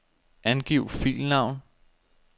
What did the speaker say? Angiv filnavn.